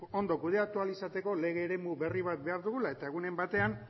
ondo kudeatu ahal izateko lege eremu berri bat behar dugula eta egunen batean